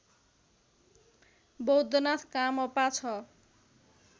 बौद्धनाथ कामपा ६